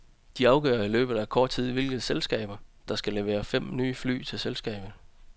De afgør i løbet af kort tid hvilke selskaber, der skal levere fem nye fly til selskabet.